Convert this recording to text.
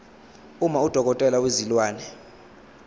uma udokotela wezilwane